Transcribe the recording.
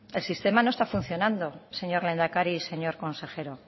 el sistema no está funcionando señor lehendakari y señor consejero